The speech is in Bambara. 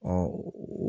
Ɔ